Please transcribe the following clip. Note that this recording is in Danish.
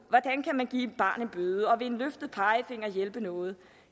hvordan kan man give et barn en bøde og vil en løftet pegefinger hjælpe noget